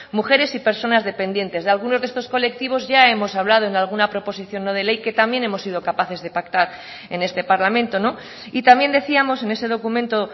mujeres y personas dependientes de algunos de estos colectivos ya hemos hablado en alguna proposición no de ley que también hemos sido capaces de pactar en este parlamento y también decíamos en ese documento